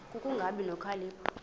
ku kungabi nokhalipho